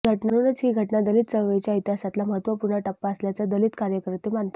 म्हणूनच ही घटना दलित चळवळीच्या इतिहासातला महत्त्वपूर्ण टप्पा असल्याचं दलित कार्यकर्ते मानतात